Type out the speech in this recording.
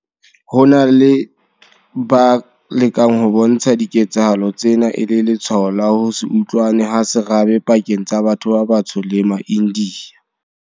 Ho na le ba lekang ho bontsha diketsahalo tsena e le letshwao la ho se utlwane ha serabe pakeng tsa batho ba batsho le maIndiya.